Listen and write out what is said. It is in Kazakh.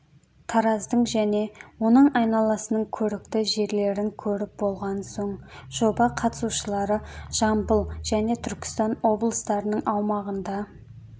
тараздың және оның айналасының көрікті жерлерін көріп болған соң жоба қатысушылары жамбыл және түркістан облыстарының аумағында